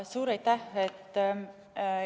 Suur aitäh!